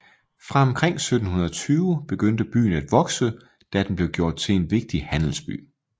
Fra omkring 1720 begyndte byen at vokse da den blev gjort til en vigtig handelsby